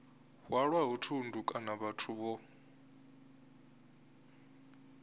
hwalaho thundu kana vhathu vho